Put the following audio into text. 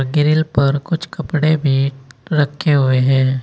Grill पर कुछ कपड़े भी रखें हुए हैं।